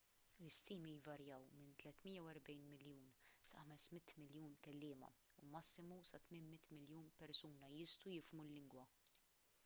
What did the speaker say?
l-istimi jvarjaw minn 340 miljun sa 500 miljun kelliema u massimu sa 800 miljun persuna jistgħu jifhmu l-lingwa